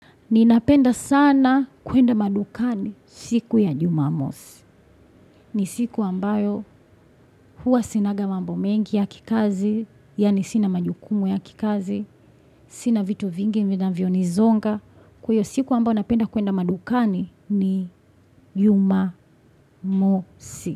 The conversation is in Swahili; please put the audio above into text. Ninapenda sana kuenda madukani siku ya Jumamosi. Ni siku ambayo hua sinanga mambo mengi ya kikazi, yani sina majukumu ya kikazi, sina vitu vingi vinavyonizonga. Kwa hiyo siku ambayo napenda kuenda madukani ni Jumamosi.